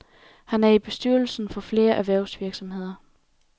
Han er i bestyrelsen for flere erhvervsvirksomheder.